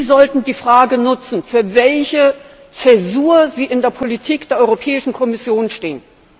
Sie sollten die Frage nutzen, für welche Zäsur Sie in der Politik der Europäischen Kommission stehen.